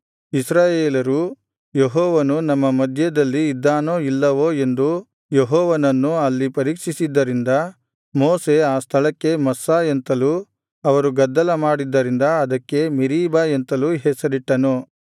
ಇಸ್ರಾಯೇಲರು ಯೆಹೋವನು ನಮ್ಮ ಮಧ್ಯದಲ್ಲಿ ಇದ್ದಾನೋ ಇಲ್ಲವೋ ಎಂದು ಯೆಹೋವನನ್ನು ಅಲ್ಲಿ ಪರೀಕ್ಷಿಸಿದ್ದರಿಂದ ಮೋಶೆ ಆ ಸ್ಥಳಕ್ಕೆ ಮಸ್ಸಾ ಎಂತಲೂ ಅವರು ಗದ್ದಲ ಮಾಡಿದ್ದರಿಂದ ಅದಕ್ಕೆ ಮೆರೀಬಾ ಎಂತಲೂ ಹೆಸರಿಟ್ಟನು